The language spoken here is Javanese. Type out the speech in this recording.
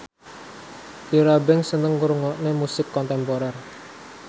Tyra Banks seneng ngrungokne musik kontemporer